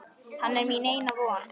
Hann er mín eina von.